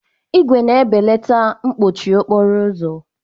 ígwè na-ebelata mkpọchie okporo ụzọ.